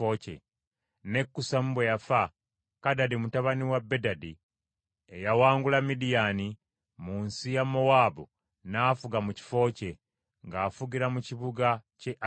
Ne Kusamu bwe yafa, Kadadi mutabani wa Bedadi, eyawangula Midiyaani, mu nsi ya Mowaabu n’afuga mu kifo kye; ng’afugira mu kibuga ky’e Avisi.